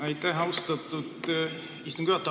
Aitäh, austatud istungi juhataja!